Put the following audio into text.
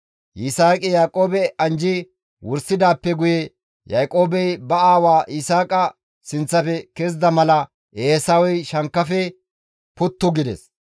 Yisaaqi Yaaqoobe anjji wursidaappe guye Yaaqoobey ba aawa Yisaaqa sinththafe kezida mala Eesawey shankkafe puttu gides.